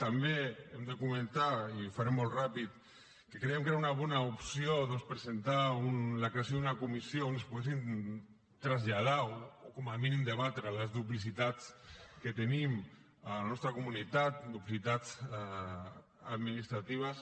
també hem de comentar i ho faré molt ràpid que creiem que era una bona opció doncs presentar la creació d’una comissió on es poguessin traslladar o com a mínim debatre les duplicitats que tenim a la nostra comunitat duplicitats administratives